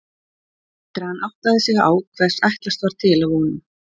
Eftir að hann áttaði sig á hvers ætlast var til af honum.